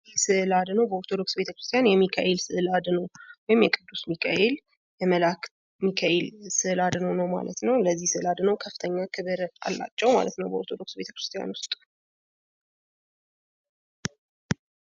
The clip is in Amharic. ይህ ስእል አድኖ በኦርቶዶክስ ቤተክርስቲያን የሚካኤል ስዕል አድኖ ወይም የቅዱስ ሚካኤል የመልአከ ሚካኤል ስዕል አድኖ ነው ማለት ነው። ለዚህ ስእል አድኖ ከፍተኛ ክብር አላቸው ማለት ነው በኦርቶዶክስ ቤተክርስቲያን ውስጥ